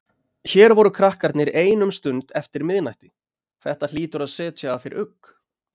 Hér voru krakkarnir ein um stund eftir miðnætti, þetta hlýtur að setja að þér ugg?